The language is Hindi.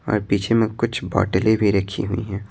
और पीछे में कुछ बोटलें भी रखी हुई हैं।